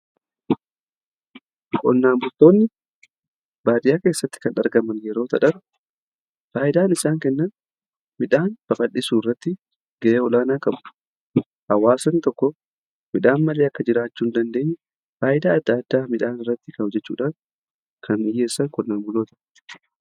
Qonnaa bultoonni baadiyaa keessatti kan argaman yeroo ta'an, faayidaan isaan kennan midhaan babaldhisuu irratti ga'ee olaanaa qabu. Hawaasni tokko midhaan malee akka jiraachuu hin dandeenye faayidaa adda addaa midhaan irratti hojjechuudhaan kan dhiyyeessan qonnaa bultootadha.